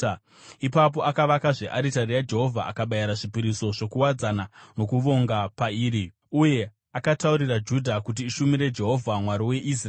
Ipapo akavakazve aritari yaJehovha akabayira zvipiriso zvokuwadzana nokuvonga pairi. Uye akataurira Judha kuti ishumire Jehovha, Mwari weIsraeri.